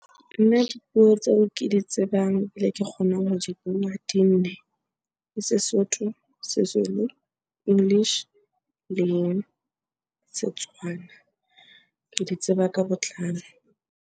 Nna dipuo tseo ke di tsebang ke kgonang ho di bua, di nne. Ke Sesotho, Sezulu, English le Setswana. Ke di tseba ka botlalo.